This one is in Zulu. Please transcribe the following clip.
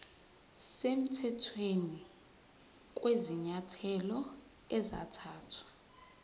semthethweni kwezinyathelo ezathathwa